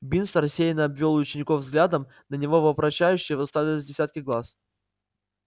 бинс рассеянно обвёл учеников взглядом на него вопрошающе уставились десятки глаз